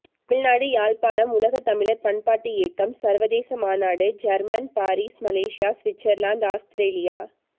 தமிழ்நாடு யாழ்ப்பாணம் உலக தமிழர் பண்பாட்டு இயக்கம் சர்வதேச மாநாடு German Paris Malaysia Switzerland Australia